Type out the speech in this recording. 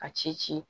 A ci ci ci